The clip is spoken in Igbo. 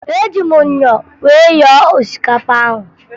Eji m myọ wee yọọ osikapa ahụ